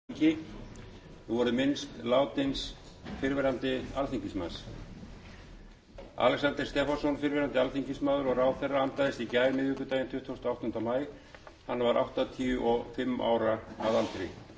alexander stefánsson fyrrverandi alþingismaður og ráðherra andaðist í gær miðvikudaginn tuttugasta og áttunda maí hann var áttatíu og fimm ára að aldri alexander